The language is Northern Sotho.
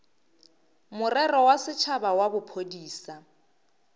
morero wa setšhaba wa bophodisa